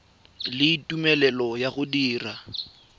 le tumelelo ya go dira